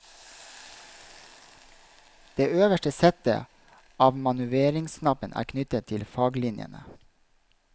Det øverste settet av manøvreringsknapper er knyttet til faglinjene.